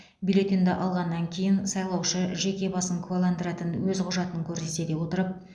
бюллетенді алғаннан кейін сайлаушы жеке басын куәландыратын өз құжатын көрсете отырып